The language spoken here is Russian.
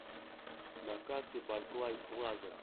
на карте барклай плаза